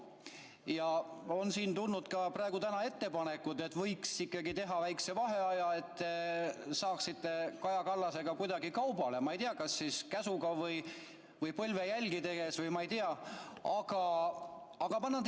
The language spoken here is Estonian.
Täna on tulnud ka ettepanekud, et võiks ikkagi teha väikese vaheaja, et te saaksite Kaja Kallasega kuidagi kaubale, ma ei tea, kas siis käsuga või põlvejälgi tehes või ma ei tea,.